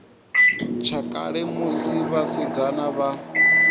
tsha kale musi vhasidzana vha